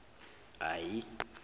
ahi